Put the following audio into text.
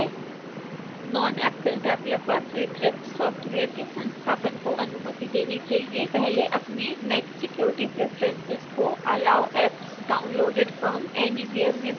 non-Apple developer स्वीकृत software के संस्थापन को अनुमति देने के लिए पहले अपने mac security preferences को allow apps downloaded from: anywhere में बदले